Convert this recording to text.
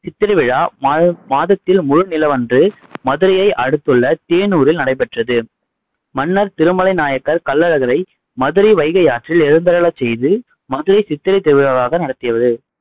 சித்திரை விழா மாத மாதத்தில் முழு நிலவன்று மதுரையை அடுத்துள்ள தேனூரில் நடைபெற்றது. மன்னர் திருமலை நாயக்கர் கள்ளழகரை மதுரை வைகையாற்றில் எழுந்தருளச் செய்து மதுரை சித்திரைத் திருவிழாவாக நடத்தியவர்